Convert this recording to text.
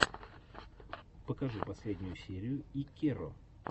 покажи последнюю серию иккеро